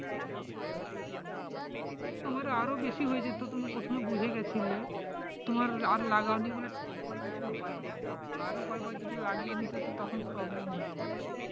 তোমার আরও বেশি হয়ে যেত তুমি প্রথমে বুঝে গেছিলে তোমার আর লাগাও নি বলে তোমার কিছু হয়নি আরও কয়েকবার যদি লাগিয়ে নিতে তো তখন problem হয়ে যেত